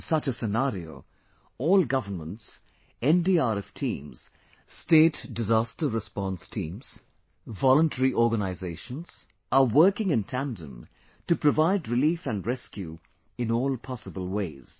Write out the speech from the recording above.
In such a scenario, all Governments, NDRF teams, Disaster response teams, Self help groups are working in tandem to provide relief and rescue in all possible ways